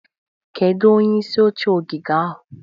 Kedu onye isi oche ogige a?